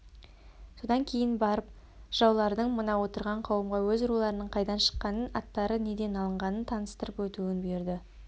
содан кейін барып жыраулардың мына отырған қауымға өз руларының қайдан шыққанын аттары неден алынғанын таныстырып өтуін бұйырды